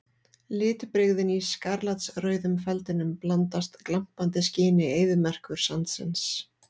Litbrigðin í skarlatsrauðum feldinum blandast glampandi skini eyðimerkursandsins.